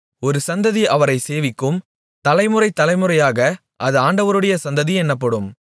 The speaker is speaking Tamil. ஒரு சந்ததி அவரைச் சேவிக்கும் தலைமுறை தலைமுறையாக அது ஆண்டவருடைய சந்ததி என்னப்படும்